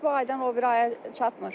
Heç bu aydan o biri aya çatmır.